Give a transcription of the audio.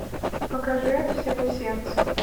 покажи от всего сердца